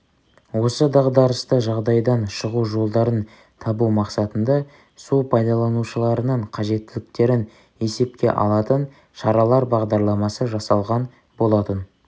осы дағдарысты жағдайдан шығу жолдарын табу мақсатында су пайдаланушыларының қажеттіліктерін есепке алатын шаралар бағдарламасы жасалған болатын